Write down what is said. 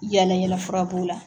Yala yalafura b'o la.